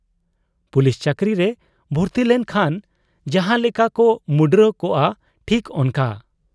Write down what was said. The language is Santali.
ᱯᱩᱞᱤᱥ ᱪᱟᱹᱠᱨᱤᱨᱮ ᱵᱷᱩᱨᱛᱤᱞᱮᱱ ᱠᱷᱟᱱ ᱡᱟᱦᱟᱸ ᱞᱮᱠᱟ ᱠᱚ ᱢᱩᱸᱰᱨᱟᱹ ᱠᱚᱜ ᱟ, ᱴᱷᱤᱠ ᱚᱱᱠᱟ ᱾